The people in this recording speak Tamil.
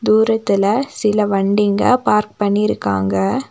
தூரத்துல சில வண்டிங்க பார்க் பண்ணிருக்காங்க.